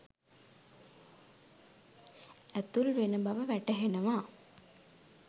ඇතුල් වෙන බව වැටහෙනවා